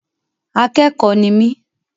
Akẹ́kọ̀ọ́ ni mí.